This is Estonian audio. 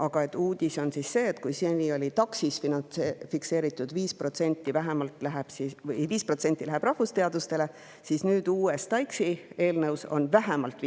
Aga uus on see, et kui seni on TAKS‑is fikseeritud, et 5% läheb rahvusteadustele, siis nüüd TAIKS‑i eelnõus on see vähemalt 5%,